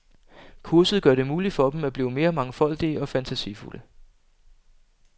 Kurset gør det muligt for dem at blive mere mangfoldige og fantasifulde.